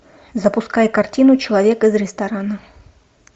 запускай картину человек из ресторана